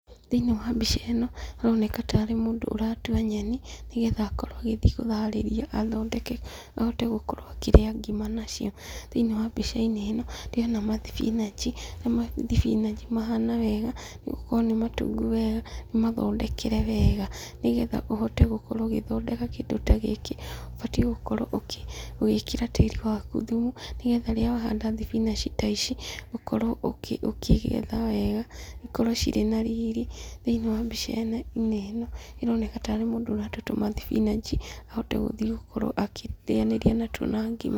Thĩiniĩ wa mbica ĩno, haroneka tarĩ mũndũ ũratua nyeni, nĩgetha akorwo agĩthiĩ kũharĩria athondeke ahote gũkorwo akĩrĩa ngima nacio. Thĩiniĩ wa mbica-inĩ ĩno, ndĩrona mathibinanji, na mathibinanji mahana wega, nĩ gũkorwo nĩ matungu wega, nĩ mathondekere wega. Nĩgetha ũhote gũkorwo ũgĩthondeka kĩndũ ta gĩkĩ, ũbatiĩ gũkorwo ũgĩkĩra tĩri waku thumu, nĩgetha rĩrĩa wahanda thibinanji ta ici, ũkorwo ũkĩgetha wega, cikorwo cirĩ riri. Thĩiniĩ wa mbica-inĩ ĩno ĩroneka tarĩ mũndũ ũratua tũmathibinanji ahote gũkorwo agĩthiĩ akĩrĩanĩria natuo na ngima.